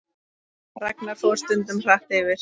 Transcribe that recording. Ragnar fór stundum hratt yfir.